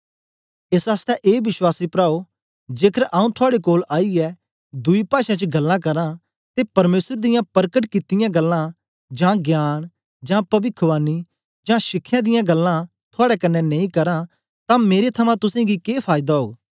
एस आसतै ए विश्वासी प्राओ जेकर आऊँ थुआड़े कोल आईयै दुई पाषें च गल्लां करां ते परमेसर दियां परकट कित्तियां गल्लां जां ज्ञान जां पविखवाणी जां शिखया दियां गल्लां थुआड़े कन्ने नेई करां तां मेरे थमां तुसेंगी के फायदा ओग